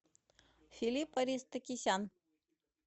филипп аристокисян